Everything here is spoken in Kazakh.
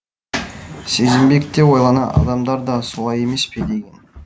сезімбек те ойлана адамдар да солай емес пе деген